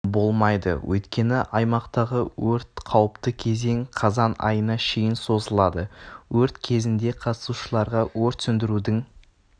болмайды өйткені аймақтағы өрт қауіпті кезең қазан айына шейін созылады өрт кезінде қатысушыларға өрт сөндірудің